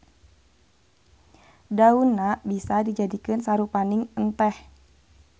Daunna bisa dijadikeun sarupaning enteh.